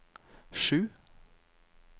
sju